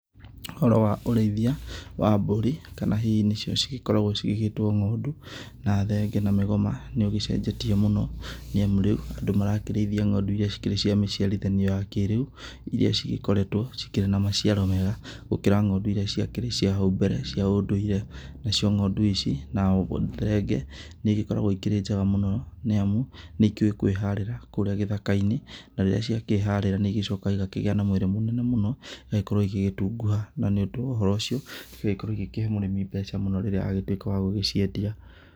Ũhoro wa ũrĩithia wa mbũri, kana hihi nĩ cio cigĩkoragwo cigĩgĩtwo ng'ondu, na thenge na mĩgoma, nĩ ugĩcenjetie mũno, nĩ amu rĩu andũ marakĩrĩithia ng'ondu iria cikĩrĩ cia mĩciarithanio ya kĩrĩu, iria cigĩkoretwo cikĩrĩ na maciaro mega gũkĩra ng'ondu iria ciakĩrĩ cia hau mbere cia ũndũire. Na cio ng'ondu ici, na oho thenge, nĩ igĩkoragwo ikĩrĩ njega mũno nĩ amu nĩ ikĩũĩ kwĩharĩra kũũrĩa gĩthaka-inĩ, na rĩrĩa ciakĩharĩrá nĩ igĩcokaga igakĩgĩa na mwĩrĩ mũnene mũno, igagĩkorwo igĩgĩtunguha, na nĩ ũndũ wa ũhoro ũcio, igagĩkorwo igĩkĩhe mũrĩmi mbeca mũno rĩrĩa agĩtuĩka wa gugĩciendia.